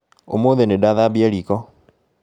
ũmũthĩ nĩndathambia riko